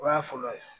O y'a fɔlɔ ye